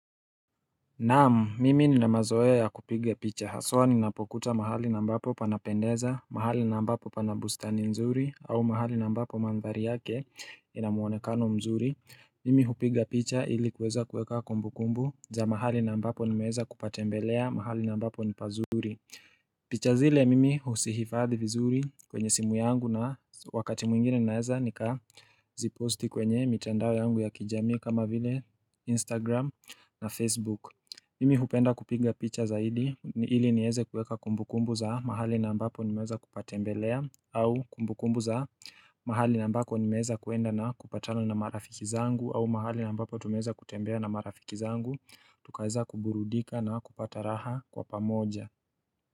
Naamu, mimi ninamazoe ya kupiga picha. Haswa ni napokuta mahali na mbapo panapendeza, mahali na mbapo pana bustani mzuri, au mahali na mbapo mandhari yake inamuonekano mzuri. Mimi upiga picha ili kuweza kuweka kumbu kumbu za mahali na mbapo ni meweza kupatembelea mahali na mbapo ni pazuri. Picha zile mimi usihifadhi vizuri kwenye simu yangu na wakati mwingine naeza nika ziposti kwenye mitandao yangu ya kijami kama vile Instagram na Facebook Mimi hupenda kupinga picha zaidi ili nieze kueka kumbu kumbu za mahali na ambapo nimeza kupatembelea au kumbu kumbu za mahali na ambako nimeza kuenda na kupatala na marafiki zangu au mahali na ambapo tumeza kutembea na marafiki zangu Tukaiza kuburudika na kupata raha kwa pamoja.